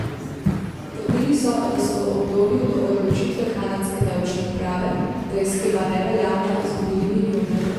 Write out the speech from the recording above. Trdili so, da so v obdobju do odločitve kanadske davčne uprave, da je shema neveljavna, izgubili milijone.